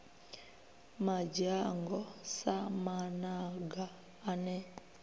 madzhango sa mamaga a ne